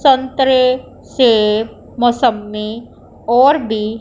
संतरे सेब मौसम्मी और भी--